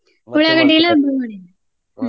ಉಳ್ಳಾಗಡ್ಡಿಇಲ್ಲ ಬೆಳ್ಳುಳ್ಳಿ ಇಲ್ಲ ಹ್ಮ..